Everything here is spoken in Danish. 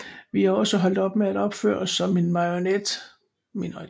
Vi er også holdt op med at opføre os som en minoritet